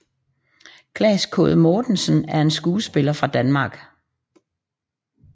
Claes Quaade Mortensen er en skuespiller fra Danmark